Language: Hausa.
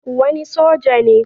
Wani soja ne